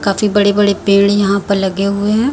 काफी बड़े बड़े पेड़ यहाँ पे लगे हुए हैं।